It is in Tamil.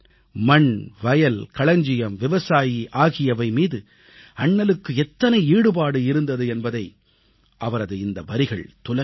மண் வயல் களஞ்சியம் விவசாயி ஆகியவைமீது அண்ணலுக்கு எத்தனை ஈடுபாடு இருந்தது என்பதை அவரது இந்த வரிகள் துலக்கிக் காட்டும்